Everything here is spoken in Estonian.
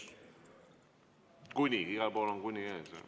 Kuni, igal pool on "kuni" ees.